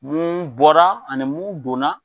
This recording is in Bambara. Mun bɔra ani mun donna.